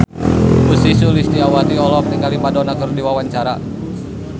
Ussy Sulistyawati olohok ningali Madonna keur diwawancara